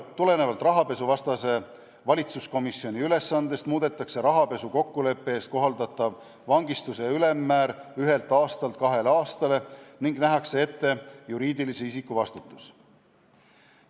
Tulenevalt rahapesuvastase valitsuskomisjoni ülesandest muudetakse rahapesu kokkuleppe eest kohaldatavat vangistuse ülemmäära, asendades senise ühe aasta kahe aastaga, ning nähakse ette juriidilise isiku vastutus.